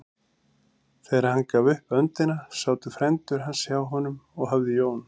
Þegar hann gaf upp öndina sátu frændur hans hjá honum og hafði Jón